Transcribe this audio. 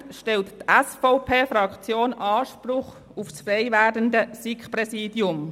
Dementsprechend erhebt die SVP-Fraktion Anspruch auf das frei werdende SiK-Präsidium.